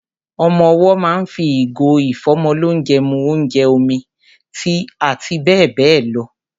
Ọmọ owọ́ ma ń fi ìgò ìfọ́mọlónjẹ mu ónjẹ, omi, tíì àti bẹ́ẹ̀ bẹ́ẹ̀ lọ.